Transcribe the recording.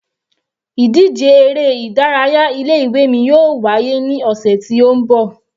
Ìdíje eré ìdárayá ilé ìwé mi yóò wá yé ní ọ̀sẹ̀ ti ó ń bọ̀.